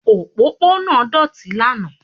Òpópónà náà doti lánàá